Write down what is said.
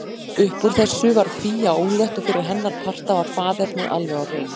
Uppúr þessu varð Fía ólétt og fyrir hennar parta var faðernið alveg á hreinu.